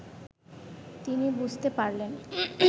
তিনি বুঝতে পারলেন